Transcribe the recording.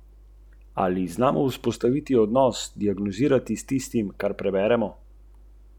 Niti približno ne.